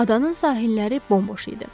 Adanın sahilləri bomboş idi.